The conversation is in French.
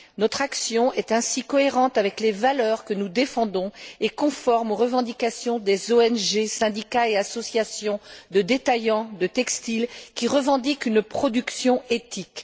Notre action est ainsi cohérente avec les valeurs que nous défendons et conforme aux revendications des ONG, des syndicats et des associations de détaillants de textiles, qui revendiquent une production éthique.